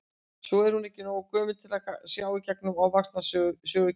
Svo er hún ekki nógu gömul til að sjá í gegnum ofvaxna sögukennara.